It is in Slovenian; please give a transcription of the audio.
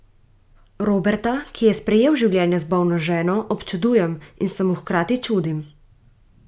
Roberta, ki je sprejel življenje z bolno ženo, občudujem in se mu hkrati čudim.